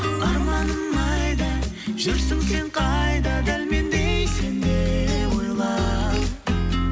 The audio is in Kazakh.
арманым айда жүрсің сен қайда дәл мендей сен де ойла